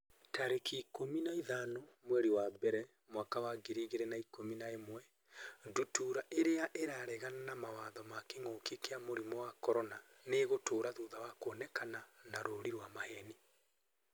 tarĩki ikũmi na ithano mweri wa mbere mwaka wa ngiri igĩrĩ na ikũmi na ĩmwe Ndutura irĩa 'ĩraregana na mawatho ma kĩngũki kia mũrimũ wa CORONA nĩ ĩgũtũra thutha wa kuonekana na rũũri rwa maheeni.